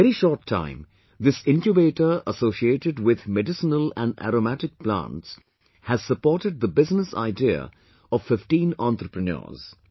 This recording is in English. In a very short time, this Incubator associated with medicinal and aromatic plants has supported the business idea of 15 entrepreneurs